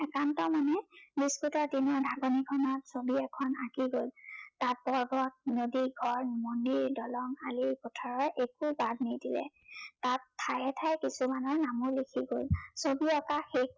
একান্ত মনে ব্য়স্ততাপূৰ্ণ দিনৰ ছবি এখন আঁকি গল। তাৰ পৰ্বত, নদী গছ, মন্দিৰ, দলং, খালী পথাৰৰ একো বাদ নিদিলে। তাত ঠায়ে ঠায়ে কিছুমানৰ নামো লিখি গল। ছবি অঁকা শেষ